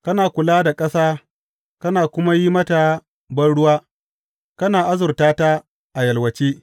Kana kula da ƙasa kana kuma yi mata banruwa; kana azurta ta a yalwace.